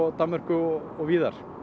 Danmörku og og víðar